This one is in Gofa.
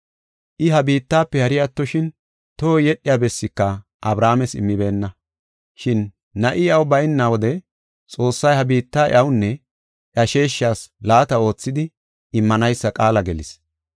I ha biittafe hari attoshin tohoy yedhiya bessika Abrahaames immibeenna. Shin na7i iyaw bayna wode Xoossay ha biitta iyawunne iya sheeshas laata oothidi immanaysa qaala gelis.